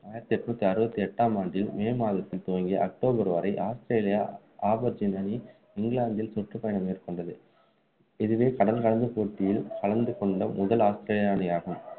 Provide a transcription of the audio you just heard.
ஆயிரத்து எட்நூத்தி அறுபத்து எட்டாம் ஆண்டில் மே மாதத்தில் துவங்கி அக்டோபர் வரை ஆஸ்திரேலியா அணி இங்கிலாந்தில் சுற்றுப்பயணம் மேற்க்கொண்டது இதுவே கடல் கடந்த போட்டியில் கலந்துகொண்ட முதல் ஆஸ்திரேலிய அணி ஆகும்